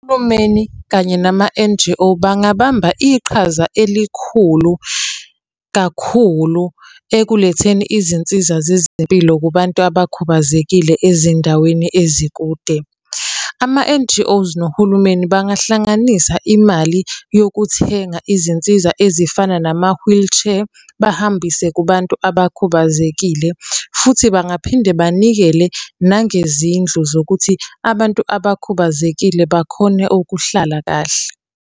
Uhulumeni kanye nama-N_G_O bangabamba iqhaza elikhulu kakhulu ekuletheni izinsiza zezempilo kubantu abakhubazekile ezindaweni ezikude. ama-N_G_O nohulumeni bangahlanganisa imali yokuthenga izinsiza ezifana nama-wheelchair, bahambise kubantu abakhubazekile. Futhi bangaphinde banikele nangezindlu zokuthi abantu abakhubazekile bakhone ukuhlala kahle.